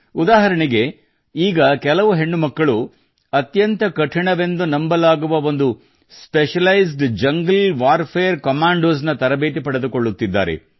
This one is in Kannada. ಉದಾಹರಣೆಗೆ ಈಗ ಕೆಲವು ಹೆಣ್ಣು ಮಕ್ಕಳು ಅತ್ಯಂತ ಕಠಿಣವೆಂದು ನಂಬಲಾಗುವ ಒಂದು ಸ್ಪೆಷಲೈಜ್ಡ್ ಜಂಗಲ್ ವಾರ್ಫೇರ್ ಕಮಾಂಡೋಸ್ ನ ತರಬೇತಿ ಪಡೆದುಕೊಳ್ಳುತ್ತಿದ್ದಾರೆ